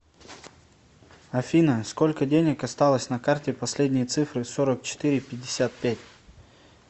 афина сколько денег осталось на карте последние цифры сорок четыре пятьдесят пять